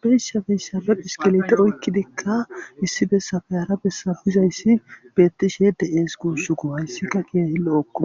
birsha feysabe piskilete oykkidikka issibessafe hara bessa bizayssi bettishe de7ees guussugu hayssikka qiye hillo okko.